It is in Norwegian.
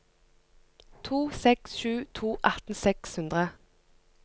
to seks sju to atten seks hundre